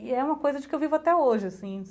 E é uma coisa de que eu vivo até hoje, assim.